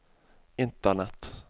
internett